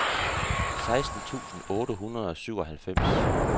seksten tusind otte hundrede og syvoghalvfems